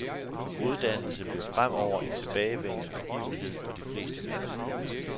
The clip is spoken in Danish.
Uddannelse bliver fremover en tilbagevendende begivenhed for de fleste mennesker.